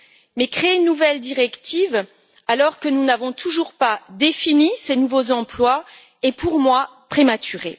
Mais créer une nouvelle directive alors que nous n'avons toujours pas défini ces nouveaux emplois est, à mon sens, prématuré.